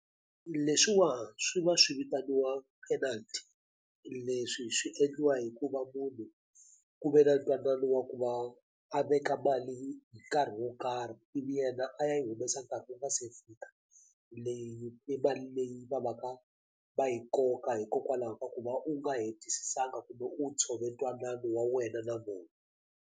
Leswiwa swi va swi vitaniwa penalt leswi swi endliwa hikuva munhu ku ve na ntwanano wa ku va a veka mali nkarhi wo karhi yena a ya yi humesa nkarhi wu nga se fika leyi i mali leyi va va ka va yi koka hikokwalaho ka ku va u nga hetisisanga kumbe u tshove twanano wa wena na vona.